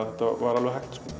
þetta var alveg hægt